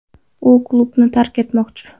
U klubni tark etmoqchi.